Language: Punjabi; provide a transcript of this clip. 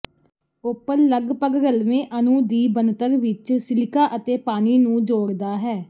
ਓਪਲ ਲਗਪਗ ਰਲਵੇਂ ਅਣੂ ਦੀ ਬਣਤਰ ਵਿੱਚ ਸਿਲਿਕਾ ਅਤੇ ਪਾਣੀ ਨੂੰ ਜੋੜਦਾ ਹੈ